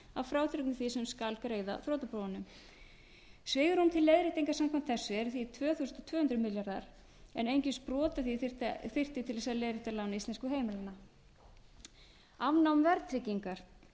að frádregnu því sem skal greiða þrotabúunum svigrúm til leiðréttinga samkvæmt þessu er því tvö þúsund tvö hundruð milljarðar en einungis brot af því þyrfti til þess að leiðrétta lán íslenskra heimila afnám verðtryggingar